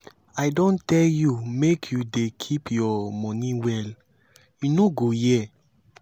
see um how you dey waste um ink no be so we dey do here oo.